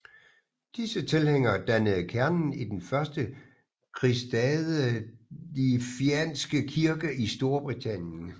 Disse tilhængere dannede kernen i den første kristadelfianske kirke i Storbritannien